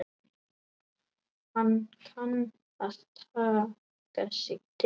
Kann að taka sig til.